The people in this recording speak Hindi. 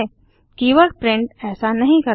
कीवर्ड प्रिंट ऐसा नहीं करता